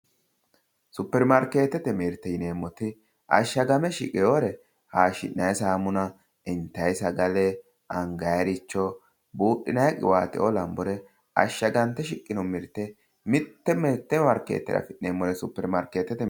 Superimaarkeete mirte yineemmoti, ashshagame shiqewoore haayiishshina'yi saamuna intaayi sagale angaayiiricho buudhinayi qiwaateoo lanbore ashshagante shiqqino mirte mitte mitte maarkeeteyi afi'neemmore supermaarkeetete mirte